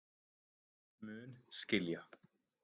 Mun skilja.